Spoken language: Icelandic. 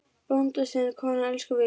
Bónda sinn konan elskar víst.